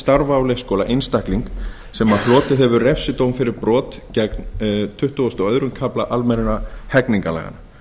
starfa á leikskóla einstakling sem hlotið hefur refsidóm fyrir brot gegn tuttugasta og öðrum kafla almennra hegningarlaga